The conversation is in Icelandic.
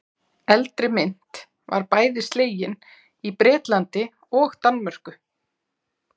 Eldri mynt var bæði slegin í Bretlandi og Danmörku.